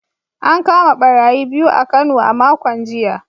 An kama barayi biyu a Kano a makon jiya